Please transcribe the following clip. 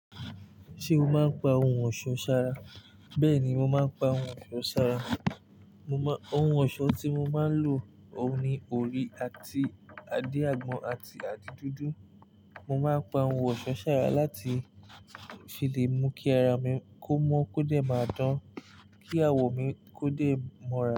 Ṣé o máa ń pa oun ọ̀ṣọ́ ṣara? Bẹ́ẹ̀ ni, mo máa ń pa oun ọ̀ṣọ́ ṣara. Mo má-- oun ọ̀ṣọ́ tí mo máa ń lò ni òrí àti adin àgbọn àti adí dúdú. Mo máa pa oun ọ̀ṣọ́ ṣara láti ṣe lè mú kí ara mi kó mọ́ kó dé máa dán, kí awọ̀ mi kó dé mo ra.